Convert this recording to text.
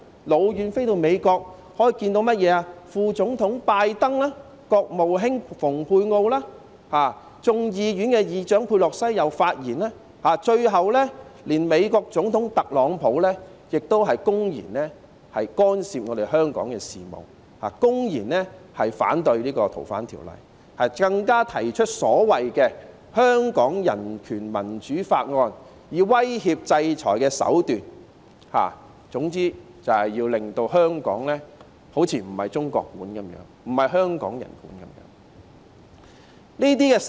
是美國副總統拜登、國務卿蓬佩奧，眾議院議長佩洛西亦有發言，最後連美國總統特朗普亦公然干涉香港事務，公然反對《逃犯條例》的修訂，更加提出所謂的《香港人權與民主法案》，使用威脅制裁的手段，總之就要令香港好像不是由中國管治、不是香港人管治一樣。